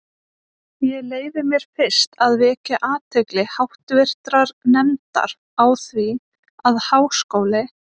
Ég leyfi mér fyrst að vekja athygli háttvirtrar nefndar á því, að Háskóli